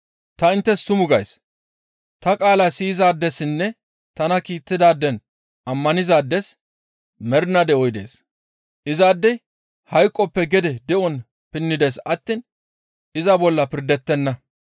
«Ta inttes tuma gays; ta qaalaa siyizaadessinne tana kiittidaaden ammanizaades mernaa de7oy dees. Izaadey hayqoppe gede de7on pinnides attiin iza bolla pirdettenna.